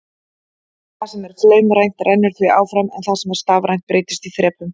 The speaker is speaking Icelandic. Það sem er flaumrænt rennur því áfram en það sem er stafrænt breytist í þrepum.